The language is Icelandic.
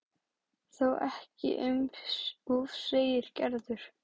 Þó ekki um of segir Gerður.